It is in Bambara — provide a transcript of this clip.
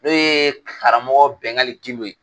O ye karamɔgɔ Bɛngali Gindo ye.